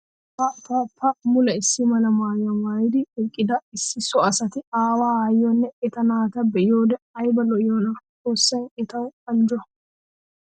Pa pa pa! Mule issi mala maayuwa maayiddi eqqidda issi so asatta awaa aayiyonne etta naata be'iyoode aybba lo'iyoonna. Xoossay etta anjjo.